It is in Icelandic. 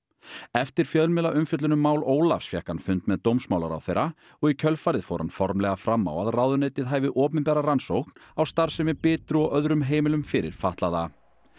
eftir fjölmiðlaumfjöllun um mál Ólafs fékk hann fund með dómsmálaráðherra og í kjölfarið fór hann formlega fram á að ráðuneytið hæfi opinbera rannsókn á starfsemi Bitru og öðrum heimilum fyrir fatlaða